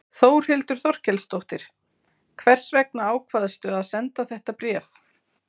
Þórhildur Þorkelsdóttir: Hvers vegna ákvaðstu að senda þetta bréf?